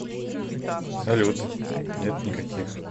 салют нет никаких